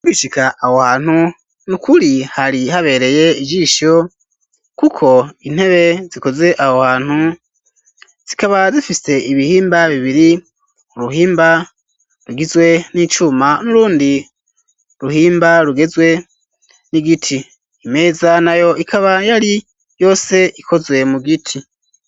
Ugishika aho hantu n'ukuri hari habereye ijisho kuko intebe zikoze aho hantu zikaba zifise ibihimba bibiri uruhimba rugizwe n'icuma n'urundi ruhimba rugizwe n'igiti imeza nayo ikaba yari yose ikozwe mu giti.